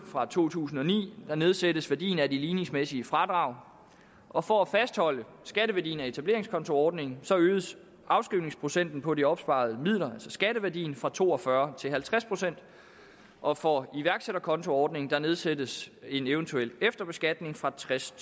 fra to tusind og ni nedsættes værdien af de ligningsmæssige fradrag og for at fastholde skatteværdien af etableringskontoordningerne øges afskrivningsprocenten på de opsparede midler altså skatteværdien fra to og fyrre til halvtreds procent og for iværksætterkontoordningen nedsættes en eventuel efterbeskatning fra tres